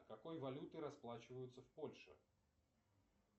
какой валютой расплачиваются в польше